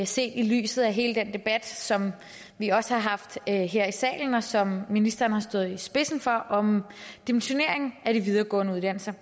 set i lyset af hele den debat som vi også har haft her i salen og som ministeren har stået spidsen for om dimensionering af de videregående uddannelser